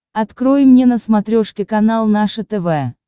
открой мне на смотрешке канал наше тв